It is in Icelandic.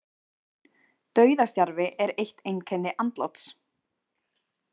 Dauðastjarfi er eitt einkenni andláts.